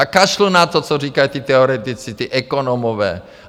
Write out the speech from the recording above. A kašlu na to, co říkají ti teoretici, ti ekonomové.